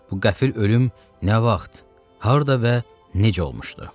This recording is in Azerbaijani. Bu qəfil ölüm nə vaxt, harda və necə olmuşdu?